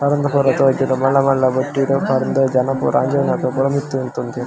ಪರ್ಂದ್ ಪೂರ ತೂಜುಂಡು ಮಲ್ಲ ಮಲ್ಲ ಬುಟ್ಟಿಡ್ ಪರ್ಂದ್ ಜನ ಪೂರ ಅಂಜೊವುನಕುಲು ಪೂರ ಮಿತ್ತ್ ಉಂತೊಂದೆರ್ .